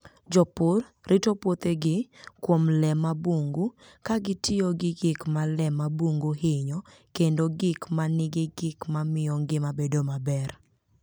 Jopur rito puothegi kuom le mag bungu, ka gitiyo gi gik ma le mag bungu hinyo kendo gik ma nigi gik ma miyo ngima bedo maber.